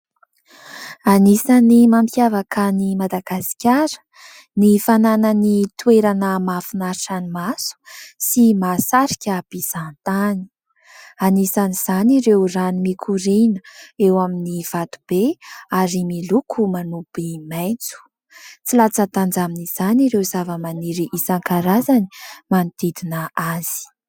Anisany mampiavaka any Madagasikara ny fananany toerana mahafinaritra ny maso sy mahasarika mpizahatany. Anisan'izany ireo rano mikoriana eo amin'ny vatobe ary miloko manopy maitso. Tsy latsa-danja amin'izany ireo zavamaniry isankarazany manodidina azy.